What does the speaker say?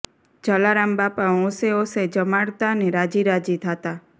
જલારામ બાપા હોંશે હોંશે જમાડતા ને રાજી રાજી થાતાં